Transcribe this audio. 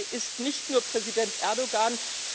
Die Türkei ist nicht nur Präsident Erdoğan.